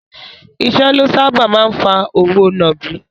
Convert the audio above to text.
Ìṣẹ́ ló sáábà máa ń fa òwò nàbì.